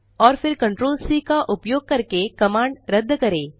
और फिर ctrl C का उपयोग करके कमांड रद्द करें